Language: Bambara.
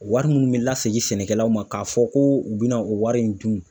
O wari munnu be la segin sɛnɛkɛlaw ma ka fɔ ko u be na o wari in dun